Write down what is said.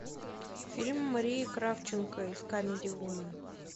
фильм марии кравченко из камеди вумен